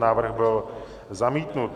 Návrh byl zamítnut.